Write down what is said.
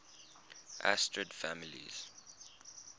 asterid families